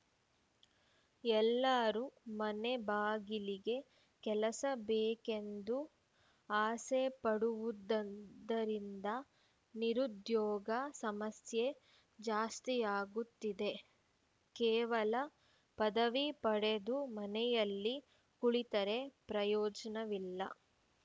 ಎಲ್ಲರೂ ಮನೆಬಾಗಿಲಿಗೆ ಕೆಲಸ ಬೇಕೆಂದು ಆಸೆಪಡುವುದ ವುದರಿಂದ ನಿರುದ್ಯೋಗ ಸಮಸ್ಯೆ ಜಾಸ್ತಿಯಾಗುತ್ತಿದೆ ಕೇವಲ ಪದವಿ ಪಡೆದು ಮನೆಯಲ್ಲಿ ಕುಳಿತರೆ ಪ್ರಯೋಜನವಿಲ್ಲ